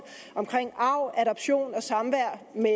omkring arv adoption og samvær med